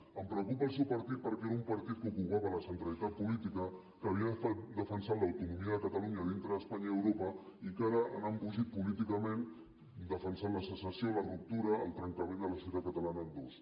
em preocupa el seu partit perquè era un partit que ocupava la centralitat política que havia defensat l’autonomia de catalunya dintre d’espanya i europa i que ara han embogit políticament defensant la secessió la ruptura el trencament de la societat catalana en dos